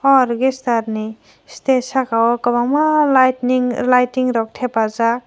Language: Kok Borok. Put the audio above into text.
o orgester ni stage saka o kobangma lightning lighting rok tepajak.